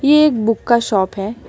ये एक बुक का शॉप है।